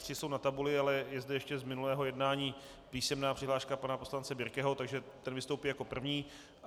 Tři jsou na tabuli, ale je zde ještě z minulého jednání písemná přihláška pana poslance Birkeho, takže ten vystoupí jako první.